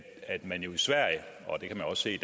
man jo i sverige og det kan man også se